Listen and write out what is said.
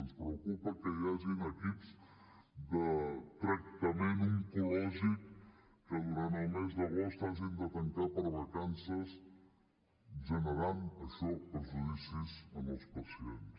ens preocupa que hi hagin equips de tractament oncològic que durant el mes d’agost hagin de tancar per vacances i que això generi perjudicis en els pacients